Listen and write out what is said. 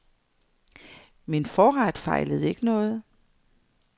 Min forret fejlede ikke noget.